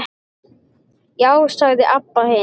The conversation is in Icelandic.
Já, sagði Abba hin.